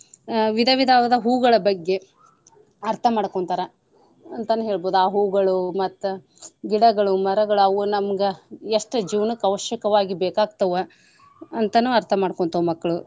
ಅಹ್ ವಿಧ ವಿಧವಾದ ಹೂಗಳ ಬಗ್ಗೆ ಅರ್ಥ ಮಾಡ್ಕೊಂತಾರ ಅಂತನೆ ಹೇಳ್ಬೋದು. ಆ ಹೂಗಳು ಮತ್ತ ಗಿಡಗಳು ಮರಗಳು ಅವು ನಮ್ಗ ಎಷ್ಟ್ ಜೀವನ್ಕ್ ಅವಶ್ಯಕವಾಗಿ ಬೇಕಾಗ್ತಾವ ಅಂತಾನೂ ಅರ್ಥ ಮಾಡ್ಕೊಂತವ ಮಕ್ಳು.